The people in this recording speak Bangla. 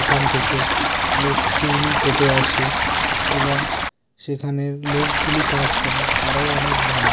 এখান থেকে আমাদের চুল কেটে আসি এবং সেখানের লোকগুলি কাজ করে তারাও অনেক ভালো।